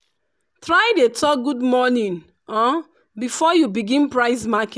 try dey talk "good morning " um before you begin price market